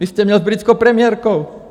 Vy jste měl s britskou premiérkou.